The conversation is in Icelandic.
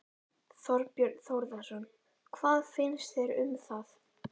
Þorbjörn Þórðarson: Hvað finnst þér um það?